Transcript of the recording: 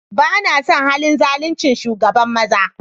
Ba na son halin zaluncin shugaban maza.